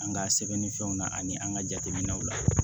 An ka sɛbɛn ni fɛnw na ani an ka jateminɛw la